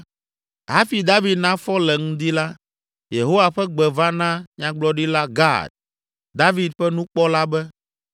Hafi David nafɔ le ŋdi la, Yehowa ƒe gbe va na Nyagblɔɖila Gad, David ƒe nukpɔla be,